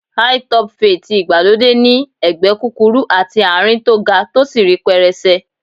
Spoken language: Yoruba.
Hi-top fade tí ìgbàlódé ní ẹ̀gbẹ́ kúkúrú àti àárín tó ga tó sì rí pẹrẹsẹ.